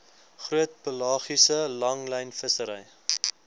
groot pelagiese langlynvissery